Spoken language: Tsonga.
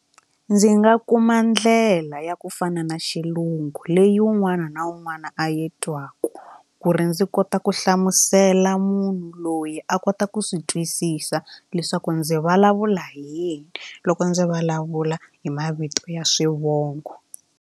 Ndzi nga kuma ndlela ya ku fana na xilungu leyi un'wana na un'wana a yi twaka ku ri ndzi kota ku hlamusela munhu loyi a kota ku swi twisisa leswaku ndzi vulavula hi yini loko ndzi vulavula hi mavito ya swivongo.